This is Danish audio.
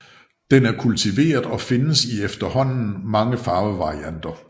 Den er kultiveret og findes i efterhånden mange farvevarianter